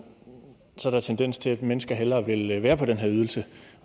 tendens til at mennesker hellere vil være på den her ydelse